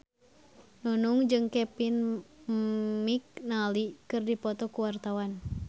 Nunung jeung Kevin McNally keur dipoto ku wartawan